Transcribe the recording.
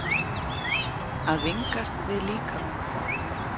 AÐ VINGAST VIÐ LÍKAMANN